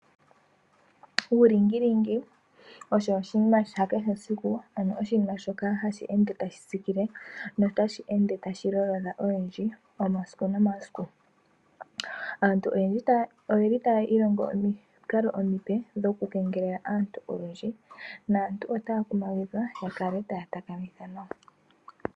Uulingilingi osho oshinima shakehesiku ano oshinima shoka hashi ende tashitsikile notashi ende tashilolodha oyendji omasiku nomasiku. Aantu oyeli taa ilongo omikalo omipe dhokukengelela aantu oyendji . Naantu otaakumagidhwa yakale taatakamitha nawa.